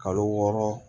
Kalo wɔɔrɔ